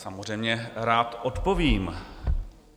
Samozřejmě rád odpovím.